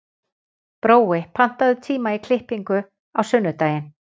Brói, pantaðu tíma í klippingu á sunnudaginn.